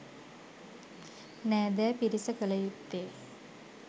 නෑදෑ පිරිස කළ යුත්තේ